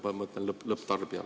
Ma mõtlen lõpptarbijat.